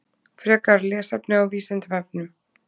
Frekara lesefni á Vísindavefnum.